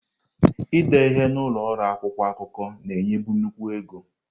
Ide ihe n'ụlọ ọrụ akwụkwọ akụkọ na-enyebu nnukwu ego.